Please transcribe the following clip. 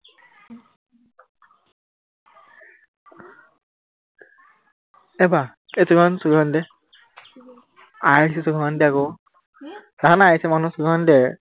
এই বা এই চকীখন, চকীখন আনি দে আই আহিছে চকীখন আনি দে আক দেখা নাই আহিছে মানুহ চকীখন আনি দে